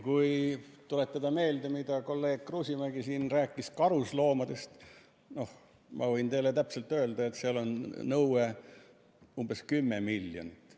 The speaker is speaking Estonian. Kui tuletada meelde, mida kolleeg Kruusimäe siin rääkis karusloomadest, siis ma võin teile täpselt öelda, et seal on nõue umbes kümme miljonit.